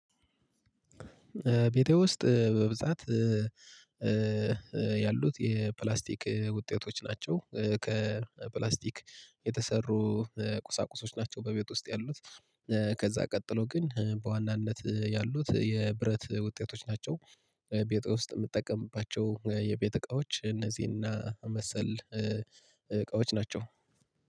ቤቴ ውስጥ በብዛት ያሉት የፕላስቲክ ውጤቶች ናቸው። ከፕላስቲክ የተሰሩ ቁሳቁሶች ናቸው በቤት ውስጥ ያሉት። ከዛ ቀጥሎ ግን በዋናነት ያሉት የብረት ውጤቶች ናቸው። ቤት ውስጥ የምትጠቀምባቸው የቤት እቃዎች እነዚህና መሰል እቃዎች ናቸው።